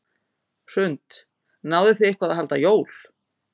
Hrund: Náðuð þið eitthvað að halda jól?